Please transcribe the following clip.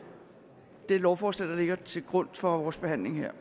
lovforslag der ligger til grund for vores behandling her